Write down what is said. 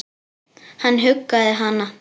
Hann huggaði hana.